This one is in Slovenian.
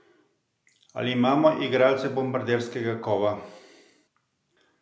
Ali imamo igralce bombarderskega kova?